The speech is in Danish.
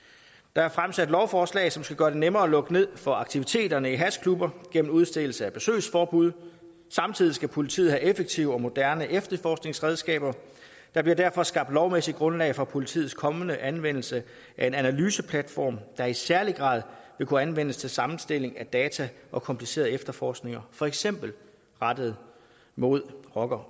der er fremsat lovforslag som skal gøre det nemmere at lukke ned for aktiviteterne i hashklubber gennem udstedelse af besøgsforbud samtidig skal politiet have effektive og moderne efterforskningsredskaber der bliver derfor skabt lovmæssigt grundlag for politiets kommende anvendelse af en analyseplatform der i særlig grad vil kunne anvendes til sammenstilling af data og komplicerede efterforskninger for eksempel rettet mod rocker